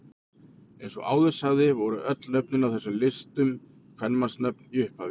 Eins og áður sagði voru öll nöfnin á þessum listum kvenmannsnöfn í upphafi.